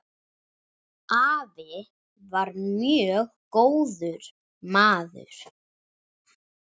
Afi var mjög góður maður.